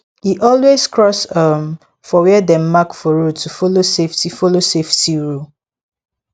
e always cross um for where dem mark for road to follow safety follow safety rule